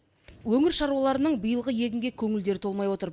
өңір шаруаларының биылғы егінге көңілдері толмай отыр